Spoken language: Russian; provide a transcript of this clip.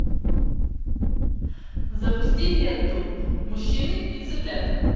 запусти ленту мужчины и цыплята